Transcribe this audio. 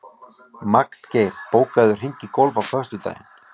Magngeir, bókaðu hring í golf á föstudaginn.